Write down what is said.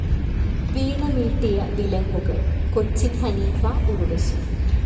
വീണമീട്ടിയ വിലങ്ങുകൾ കൊച്ചിൻ ഹനീഫ ഉർവശി